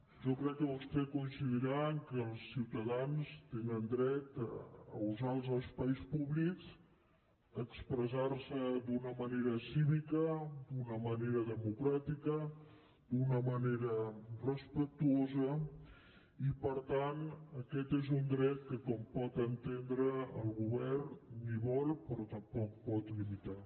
jo crec que vostè coincidirà que els ciutadans tenen dret a usar els espais públics a expressar se d’una manera cívica d’una manera democràtica d’una manera respectuosa i per tant aquest és un dret que com pot entendre el govern no vol però tampoc pot limitar